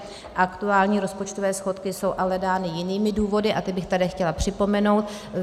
Aktuální rozpočtové schodky jsou ale dány jinými důvody a ty bych tady chtěla připomenout.